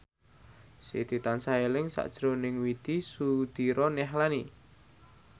Siti tansah eling sakjroning Widy Soediro Nichlany